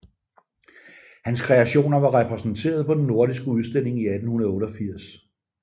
Hans kreationer var repræsenteret på den nordiske udstilling i 1888